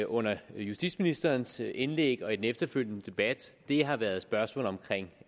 under justitsministerens indlæg og i den efterfølgende debat har været spørgsmålet omkring